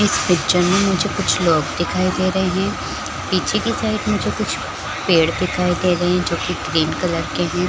इस पिक्चर में मुझे कुछ लोग दिखाई दे रहे है पीछे के साइड मुझे कुछ पेड़ दिखाई दे रहे है जो की ग्रीन कलर के है।